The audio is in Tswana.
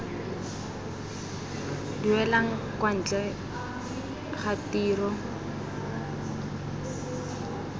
duelang kwa ntle ga tiro